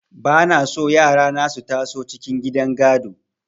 Ba na so yara na su taso cikin gidan gado.